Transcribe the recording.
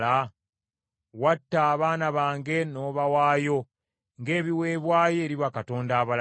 Watta abaana bange n’obawaayo ng’ebiweebwayo eri bakatonda abalala.